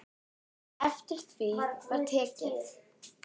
Eftir því var tekið.